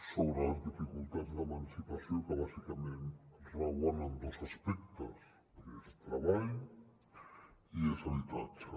sobre les dificultats d’emancipació que bàsicament rauen en dos aspectes que és treball i és habitatge